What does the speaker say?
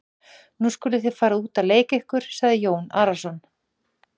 Nú skuluð þið fara út að leika ykkur, sagði Jón Arason.